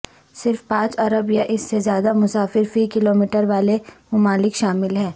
صرف پانچ ارب یا اس سے زیادہ مسافر فی کلومیٹر والے ممالک شامل ہیں